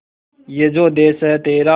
ये जो देस है तेरा